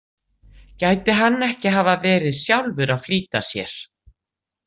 Gæti hann ekki hafa verið sjálfur að flýta sér?